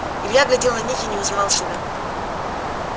илья глядел на них и не узнавал себя